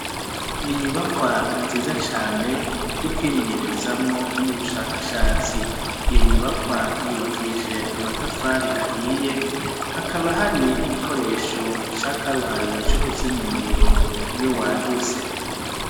N'inyubakwa nziza cane yokwimenyerezamwo n'ubushakashatsi. Iyo nyubakwa yubakishijwe, amatafari ahiye hakaba hari n'igikoresho ca karuhariwe cokuzimya umuriro iyo wadutse.